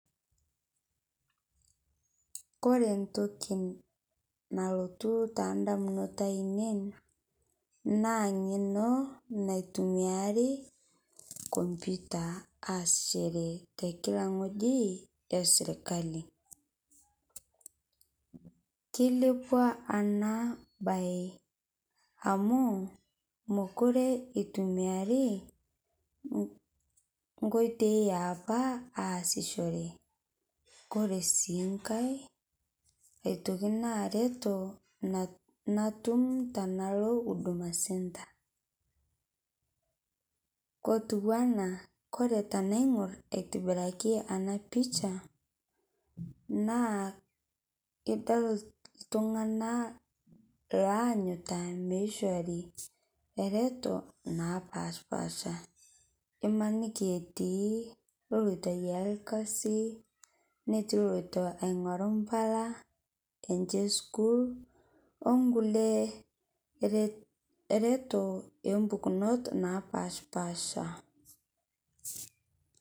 Kore ntoki nalotu tandamunot ainen naa ng'eno naitumiari computer aasishere telika ng'oji esirkali. Keilepua ana bai amu mokure eitumiarii nkoitei eapaa aasishore kore sii ng'ai etoki naa retoo natum tanaloo huduma centre. Kotuwana kore tanaing'ur aitibiraki ana picha naa idol ltung'ana loanyuta meishori retoo napashpaasha imaniki etii loloito aiyaa lkazi netii loloito aing'oru mpalaa enshe eskuul onkulie retoo empukunot napashpaasha.